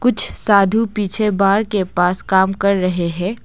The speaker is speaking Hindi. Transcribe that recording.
कुछ साधू पीछे बाड़ के पास काम कर रहे है।